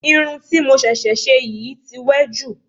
Irun ti mo ṣẹ̀ṣẹ̀ ṣe yìí tí wẹ́ jù